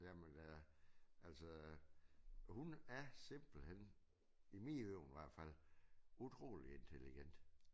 Jamen øh altså hun er simpelthen i mine ører i hvert fald utrolig intelligent